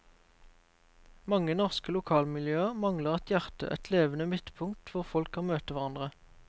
Mange norske lokalmiljøer mangler et hjerte, et levende midtpunkt hvor folk kan møte hverandre.